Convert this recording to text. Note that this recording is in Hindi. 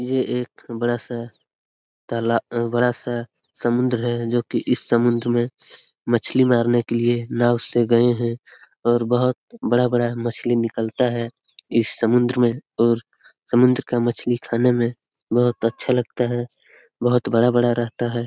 ये एक बड़ा सा ताला अ बड़ा सा समुंद्र है जो की इस समुंद्र में मछ्ली मारने के लिए नाव से गए है और बोहोत बड़ा-बड़ा मछ्ली निकलता है इस समुंद्र में और समुंद्र का मछ्ली खाने में बोहोत अच्छा लगता है बोहोत बड़ा-बड़ा रहता है।